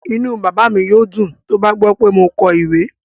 Inú bàbá mi yóò dùn tó bá gbọ́ pé mo kọ ìwé